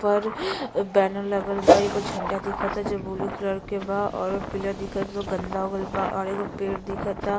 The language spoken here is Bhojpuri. पर बैनर लगल बा। एगो झंडा दिखअ ता जो ब्लू कलर के बा और पिलर दिखअ ता जो गन्दा हो गईल बा और एगो पेड़ दिखअ ता।